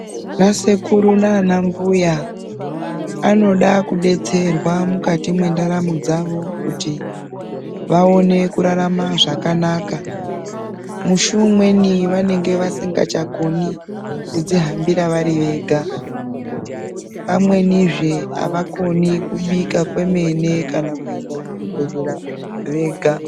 Ana sekuru nana mbuya vanoda kudetsererwa mukati mendaramu dzavo kuti vaone kurarama zvakanaka musi umweni vanenge vasingachakoni kudzihambira pamwenizve havakoni kubika kana kuenda kuchibhehleya vega